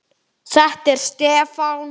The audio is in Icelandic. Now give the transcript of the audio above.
Þetta er Stefán.